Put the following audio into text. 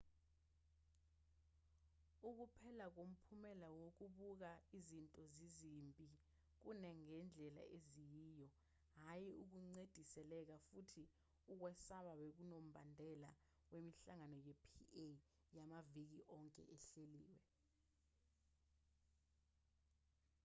ukuphela komphumela wokubuka izinto zizimbi kunangendlela eziyiyo hhayi ukucindezeleka futhi ukwasaba bekunombandela wemihlangano ye-pa yamaviki onke ehleliwe